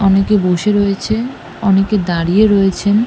অনেকে বসে রয়েছেন অনেকে দাঁড়িয়ে রয়েছেন ।